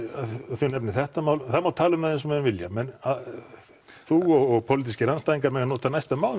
þið nefnið þetta mál það má tala um það eins og menn vilja þú og pólitískir andstæðingar mega nota næstu